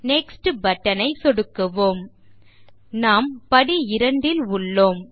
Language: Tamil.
நெக்ஸ்ட் பட்டன் ஐ சொடுக்குவோம் நாம் படி 2 ல் உள்ளோம்